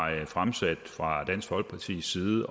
fremsat fra dansk folkepartis side